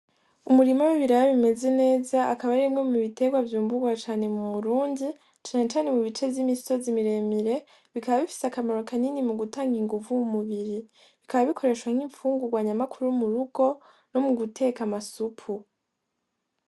Umurima w'ibiraya bimeze neza akaba ari imwe mubiterwa vyimburwa cane mu Burundi cane cane mu bice vy'imisozi miremire, bikaba bifise akamaro kanini mugutanga inguvu m'umubiri, bikaba bikoreshwa nk'infungurwa nyamukuru m'urugo no muguteka amasupu.